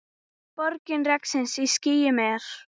Bogi regns í skýjum er.